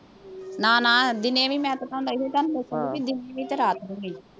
ਨਾ ਨਾ ਦਿਨੇ ਵੀ ਮੈਂ ਪਸੰਦ ਆਈ ਸੀ ਤੁਹਾਨੂੰ, ਲੇਕਿਨ ਦਿਸਦੀ ਤਾਂ ਰਾਤ ਨੂੰ ਸੀ।